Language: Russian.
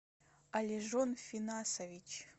алежон финасович